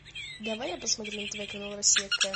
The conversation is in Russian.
давай я посмотрю на тв канал россия к